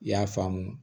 I y'a faamu